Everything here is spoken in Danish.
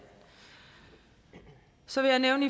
så vil jeg nævne